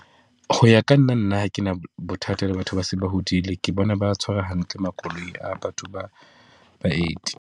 Ho ya ka nna, nna ha ke na bothata le batho ba seng ba hodile. Ke bona ba tshwara hantle makoloi a batho ba baeti.